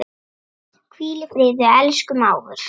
Hvíl í friði, elsku mágur.